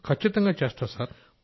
ఖచ్చితంగా చేస్తాసార్